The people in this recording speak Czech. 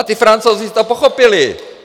A ti Francouzi to pochopili.